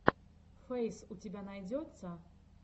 фейс у тебя найдется